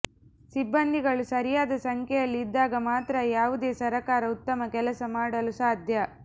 ಸಿಬ್ಬಂದಿಗಳು ಸರಿಯಾದ ಸಂಖ್ಯೆಯಲ್ಲಿ ಇದ್ದಾಗ ಮಾತ್ರ ಯಾವುದೇ ಸರಕಾರ ಉತ್ತಮ ಕೆಲಸ ಮಾಡಲು ಸಾಧ್ಯ